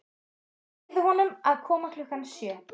Segðu honum að koma klukkan sjö.